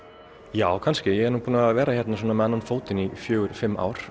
já kannski ég er nú búinn að vera hérna með annan fótinn í fjögur til fimm ár